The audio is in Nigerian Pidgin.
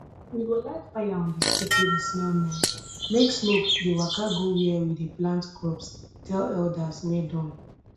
we go light fire on di stick wey dey smell nice make smoke dey waka go where we dey plant crops tell elders wey don